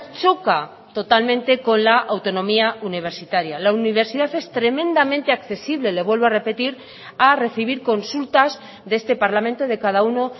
choca totalmente con la autonomía universitaria la universidad es tremendamente accesible le vuelvo a repetir a recibir consultas de este parlamento de cada uno